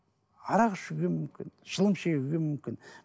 арақ ішуге мүмкін шылым шегуге мүмкін